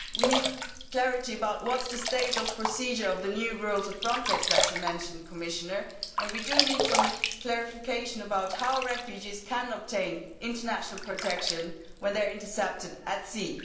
We need clarity about what is the stage of the procedure of the new rules of Frontex that you mentioned, Commissioner, and we need some clarification about how refugees can obtain international protection when they are intercepted at sea.